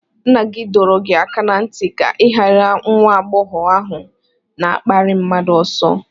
Nna gị dọrọ gị aka ná ntị ka ị gbaara nwa agbọghọ ahụ na-akparị mmadụ oso!